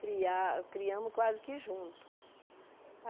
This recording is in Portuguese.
Cria criamos quase que junto.